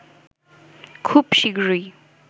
খুব শীগগিরই